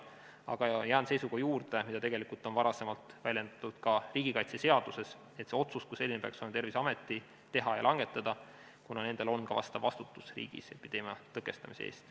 Aga jään seisukoha juurde, mida on varem väljendatud ka riigikaitseseaduses, et see otsus kui selline peaks olema Terviseameti teha ja langetada, kuna nendel on vastutus riigis epideemia tõkestamise eest.